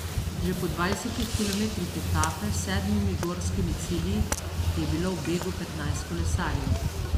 Že po dvajsetih kilometrih etape s sedmimi gorskimi cilji je bilo v begu petnajst kolesarjev.